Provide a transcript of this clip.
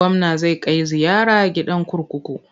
Gwamna zai kai ziyara gidan kurkuku.